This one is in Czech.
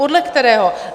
Podle kterého?